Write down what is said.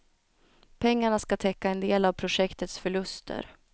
Pengarna ska täcka en del av projektets förluster.